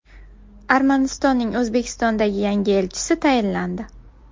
Armanistonning O‘zbekistondagi yangi elchisi tayinlandi.